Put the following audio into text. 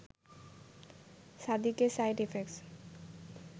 Shaadi Ke side effects